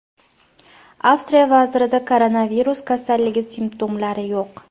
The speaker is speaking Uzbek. Avstriya vazirida koronavirus kasalligi simptomlari yo‘q.